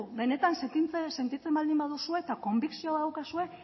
benetan sentitzen baldin baduzue eta konbikzioa baduzue